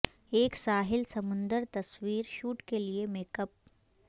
ایک ساحل سمندر تصویر شوٹ کے لئے میک اپ